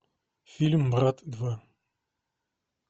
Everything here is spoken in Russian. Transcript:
фильм брат два